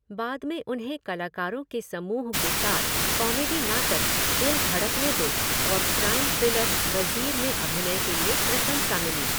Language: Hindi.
बाद में उन्हें कलाकारों के समूह के साथ कॉमेडी नाटक 'दिल धड़कने दो' और क्राइम थ्रिलर 'वज़ीर' में अभिनय के लिए प्रशंसा मिली।